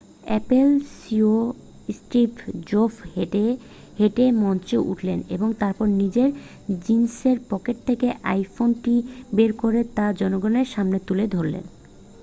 Apple CEO Steve জোভস হেঁটে মঞ্চে উঠলেন এবং তারপর নিজের জিন্সের পকেট থেকে আইফোনটি বের করে তা জনগণের সামনে তুলে ধরলেন